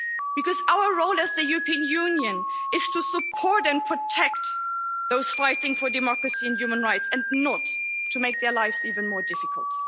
Because our role as the European Union is to support and protect those fighting for democracy and human rights, and not to make their lives even more difficult.